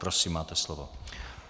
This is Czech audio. Prosím, máte slovo.